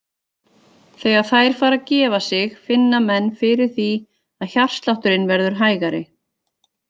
Þegar þær fara að gefa sig finna menn fyrir því að hjartslátturinn verður hægari.